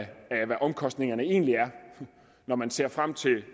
hvad omkostningerne egentlig er når man ser frem til